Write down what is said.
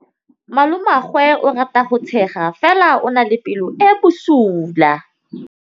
Malomagwe o rata go tshega fela o na le pelo e e bosula.